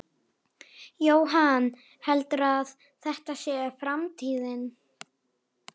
Jóhann: Heldurðu að þetta sé framtíðin?